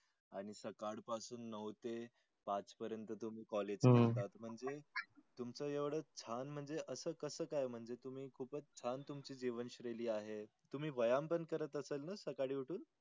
आन्ही साकाड पासून नव ते पाच पर्यंत तुम्ही college हम्म करता मंझे तुमच्या एवड छान मंजे अस कस काय मंझे तुम्ही खूपच छान तुमची जीवन शेयली आहे तुम्ही व्यायाम पण करत असाल न साकडी उठून.